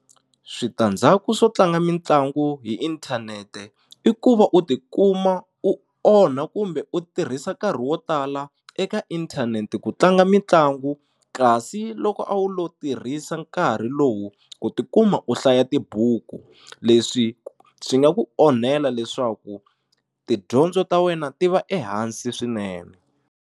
Switandzhaku swo tlanga mitlangu hi inthanete i ku va u tikuma u onha kumbe u tirhisa nkarhi wo tala eka inthanete ku tlanga mitlangu kasi loko a wu lo tirhisa nkarhi lowu ku tikuma u hlaya tibuku leswi swi nga ku onhela leswaku tidyondzo ta wena ti va ehansi swinene.